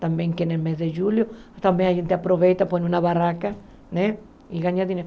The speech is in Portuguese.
Também que, no mês de julho, a gente aproveita, põe uma barraca né e ganha dinheiro.